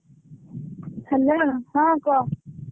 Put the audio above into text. Hello ହଁ କହ ।